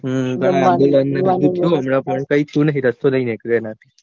રસ્તો નહિ નીકળ્યો